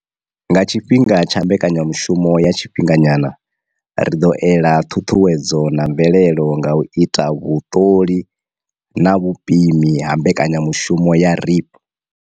Nga tshifhinga tsha mbekanyamushumo ya tshifhinga nyana, ri ḓo ela ṱhuṱhuwedzo na mvelelo nga u ita vhuṱoli na vhupimi ha mbekanyamushumo ya REAP.